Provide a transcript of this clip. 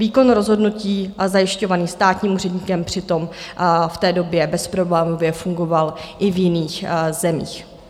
Výkon rozhodnutí zajišťovaný státním úředníkem přitom v té době bezproblémově fungoval i v jiných zemích.